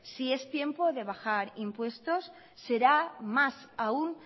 si es tiempo de bajar impuestos será más aún